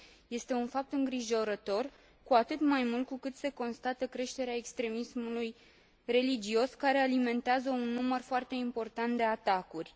Este un fapt îngrijorător, cu atât mai mult cu cât se constată creșterea extremismului religios, care alimentează un număr foarte important de atacuri.